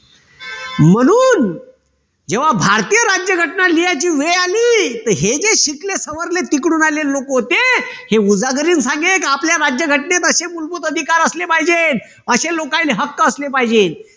जेव्हा भारतीय राज्यघटना लिहायची वेळ आली तर हे जे शिकले सवरले तिकडून आले लोक होते. हे झाले आपल्या राज्यघटनेत अशे मूलभूत अधिकार असले पाहिजेत. असे लोकायले हक्क असले पाहिजे.